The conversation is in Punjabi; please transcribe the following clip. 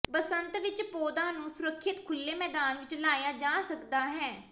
ਬਸੰਤ ਵਿਚ ਪੌਦਾ ਨੂੰ ਸੁਰੱਖਿਅਤ ਖੁੱਲ੍ਹੇ ਮੈਦਾਨ ਵਿੱਚ ਲਾਇਆ ਜਾ ਸਕਦਾ ਹੈ